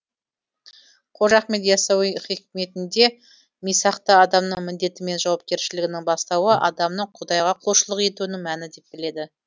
қожа ахмет иассауи хикметінде мисақты адамның міндеті мен жауапкершілігінің бастауы адамның құдайға құлшылық етуінің мәні деп біледі